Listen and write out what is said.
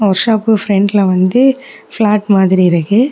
Work shop பிரண்ட்ல வந்து flat மாதிரி இருக்கு.